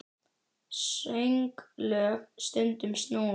Sönglög stundum snúin.